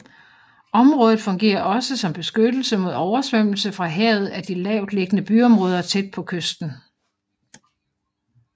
Området fungerer også som beskyttelse mod oversvømmelse fra havet af de lavtliggende byområder tæt på kysten